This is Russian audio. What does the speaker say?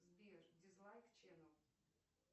сбер дизлайк ченел